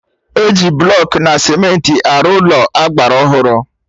Eji blọkụ na cementị arụ Ụlọ agbara ọhụrụ